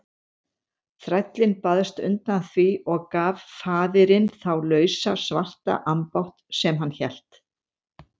Þrællinn baðst undan því og gaf faðirinn þá lausa svarta ambátt sem hann hélt.